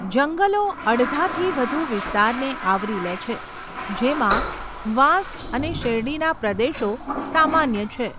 જંગલો અડધાથી વધુ વિસ્તારને આવરી લે છે, જેમાં વાંસ અને શેરડીના પ્રદેશો સામાન્ય છે.